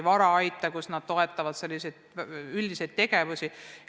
Ka meetmega Varaait toetatakse selliseid üldiseid tegevusi.